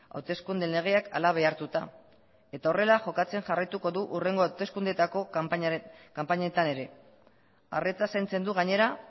hauteskunde legeak hala behartuta eta horrela jokatzen jarraituko du hurrengo hauteskundeetako kanpainetan ere arretaz zaintzen du gainera